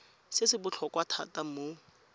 se se botlhokwa thata mo